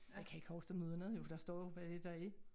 Jeg kan ikke huske dem udenad jo for der står jo hvad er det der er